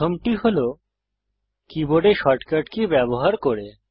প্রথমটি হল কীবোর্ডে শর্টকাট কী ব্যবহার করে